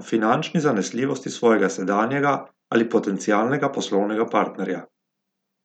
o finančni zanesljivosti svojega sedanjega ali potencialnega poslovnega partnerja.